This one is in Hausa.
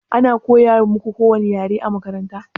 Ana koya muƙu kowani ƴare a maƙaranta?